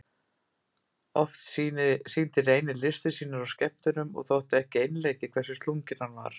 Oft sýndi Reynir listir sínar á skemmtunum og þótti ekki einleikið hversu slunginn hann var.